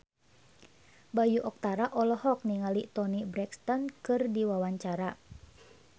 Bayu Octara olohok ningali Toni Brexton keur diwawancara